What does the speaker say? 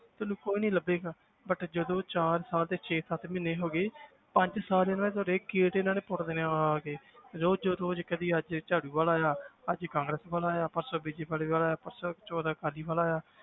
ਤੁਹਾਨੂੰ ਕੋਈ ਨੀ ਲੱਭੇਗਾ ਬੱਟ ਜਦੋਂ ਚਾਰ ਸਾਲ ਤੇ ਛੇ ਸੱਤ ਮਹੀਨੇ ਹੋ ਗਏ ਪੰਜ ਸਾਲ ਇਹਨਾਂ ਨੇ ਤੁਹਾਡੇ ਗੇਟ ਇਹਨਾਂ ਨੇ ਪੁੱਟ ਦੇੇਣੇ ਆਂ ਆ ਆ ਕੇ ਰੋਜ਼ ਰੋਜ਼ ਕਦੇ ਅੱਜ ਝਾੜੂ ਵਾਲਾ ਆਇਆ ਅੱਜ ਕਾਂਗਰਸ ਵਾਲਾ ਆਇਆ ਪਰਸੋਂ ਬੀਜੇਪੀ ਵਾਲਾ ਆਇਆ ਪਰਸੋਂ ਚੋਥੇ ਅਕਾਲੀ ਵਾਲਾ ਆਇਆ